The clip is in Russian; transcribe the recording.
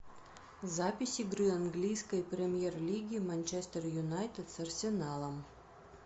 запись игры английской премьер лиги манчестер юнайтед с арсеналом